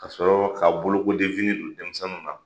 Kasɔrɔ ka bolokolifini don denmisɛnw na